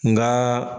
Nka